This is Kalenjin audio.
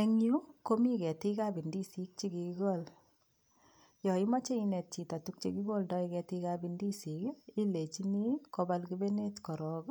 Eng yu komi ketiikab indisik che kigigol. Yo imache inet chito tuguk che kigoldai ketiikab indisik ii, ilenchini, kobal kepenet korok,